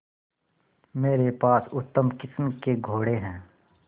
मेरे पास उत्तम किस्म के घोड़े हैं